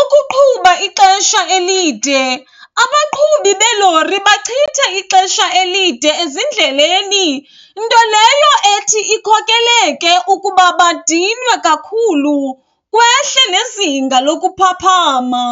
Ukuqhuba ixesha elide, abaqhubi beelori bachitha ixesha elide ezindleleni nto leyo ethi ikhokeleke ukuba badinwe kakhulu kwehle nezinga lokuphaphama.